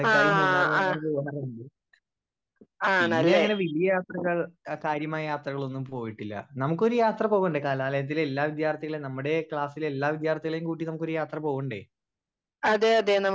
Speaker 2 ആ ആഹ്. ആണല്ലേ? അതെ അതെ നമുക്ക്